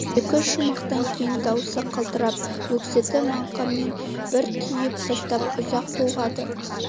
екі-үш шумақтан кейін дауысы қалтырап өксікті мақаммен бір түйіп тастап ұзақ толғады